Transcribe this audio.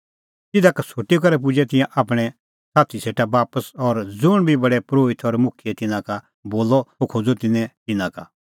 तिधा का छ़ुटी करै पुजै तिंयां आपणैं साथी सेटा बापस और ज़ुंण बी प्रधान परोहित और मुखियै तिन्नां का बोलअ सह खोज़अ तिन्नैं तिन्नां का